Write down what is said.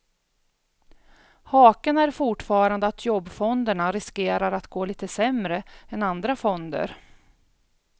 Haken är fortfarande att jobbfonderna riskerar att gå lite sämre än andra fonder.